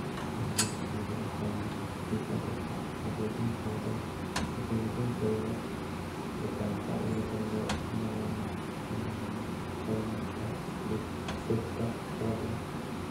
Xannaanada shinnidu waxay gacan ka geysan kartaa hagaajinta tayada deegaanka iyada oo loo marayo mankaynta dhirta kala duwan.